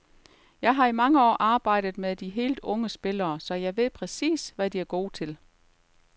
Jeg har i mange år arbejdet med de helt unge spillere, så jeg ved præcis, hvad de er gode til.